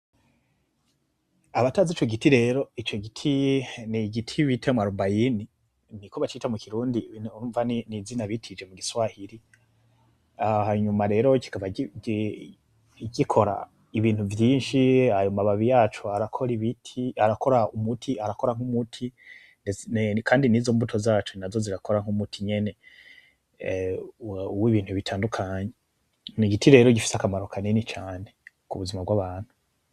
Abatazi ico giti rero, ico giti ni igiti bita mwarobayini. Niko bacita mu Kirundi, urumva ni izina bitije mu Giswahili. Hanyuma rero kigaba gikora ibintu vyinshi. Ayo mababi yaco arakora umuti, arakora nk'umuti. Kandi nizo mbuto zaco nazo zirakora nk'umuti nyene w'ibintu bitandukanye. Ni igiti rero gifise akamaro cane ku buzima bw'abantu.